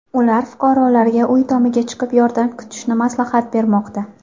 Ular fuqarolarga uy tomiga chiqib, yordam kutishni maslahat bermoqda.